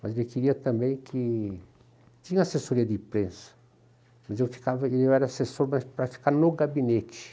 Mas ele queria também que... Tinha assessoria de imprensa, mas eu ficava, eu era assessor para ficar no gabinete.